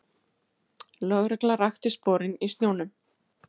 Lögregla rakti sporin í snjónum